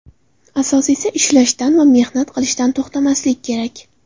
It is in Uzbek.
Asosiysi, ishlashdan va mehnat qilishdan to‘xtamaslik kerak”.